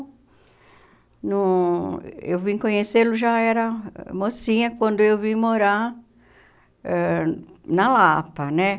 Não, eu vim conhecê-lo já era mocinha quando eu vim morar ãh na Lapa, né?